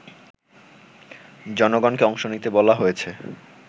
জনগণকে অংশ নিতে বলা হয়েছে